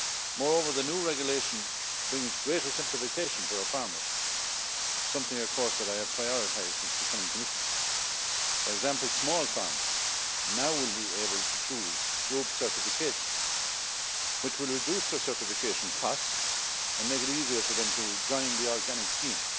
Moreover, the new regulation brings greater simplification for our farmers, something that I have prioritised since becoming Commissioner. For example, small farmers now will be able to choose group certification, which will reduce their certification costs and make it easier for them to join the organic scheme.